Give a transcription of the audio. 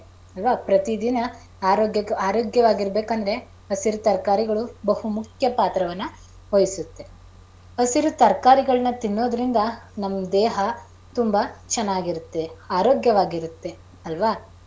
ಅಲ್ವಾ ಪ್ರತಿದಿನ ಆರೋಗ್ಯವಾಗಿ ಇರಬೇಕಂದ್ರೆ ಹಸಿರು ತರಕಾರಿಗಳು ಬಹು ಮುಖ್ಯ ಪಾತ್ರವನ್ನ ವಹಿಸುತ್ತೆ. ಹಸಿರು ತರಕಾರಿಗಳನ್ನ ತಿನ್ನೋದರಿಂದ ನಮ್ ದೇಹ ತುಂಬಾ ಚೆನ್ನಾಗಿರುತ್ತೆ ಆರೋಗ್ಯವಾಗಿರುತ್ತೆ ಅಲ್ವಾ.